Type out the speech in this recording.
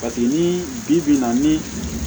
Paseke ni bibi in na ni